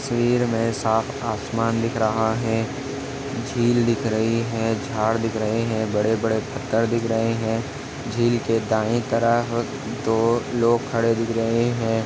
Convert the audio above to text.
तस्वीर में साफ आसमान दिख रहा है झील दिख रही है झाड़ दिख रहे है बड़े- बड़े पत्थर दिख रहे है झील के दायी तरफ दो लोग खड़े दिख रहे हैं।